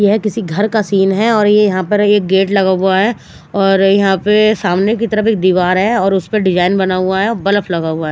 यह किसी घर का सीन है और ये यहाँ पर एक गेट लगा हुआ है और यहाँ पे सामने की तरफ एक दीवार है और उस पर डिजाईन बना हुआ है बल्ब लगा हुआ है।